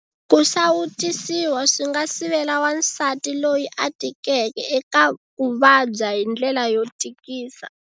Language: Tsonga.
Ku sawutisiwa swi nga sivela wansati loyi a tikeke eka ku vabya hi ndlela yo tikisa.